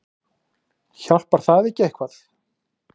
Hjálpar það ekki eitthvað?